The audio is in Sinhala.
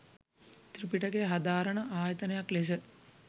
ත්‍රිපිටකය හදාරන ආයතනයක් ලෙස